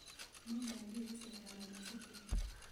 Nĩngathiĩ gũcerera Maina cukuru.